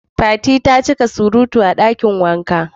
Fati ta ci ka surutu a dakin wanka.